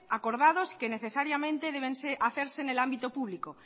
acordados que necesariamente deben hacerse en el ámbito público